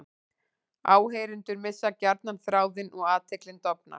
Áheyrendur missa gjarnan þráðinn og athyglin dofnar.